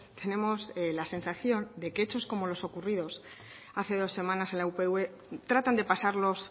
tenemos la sensación de que hechos como los ocurridos hace dos semanas en la upv tratan de pasarlos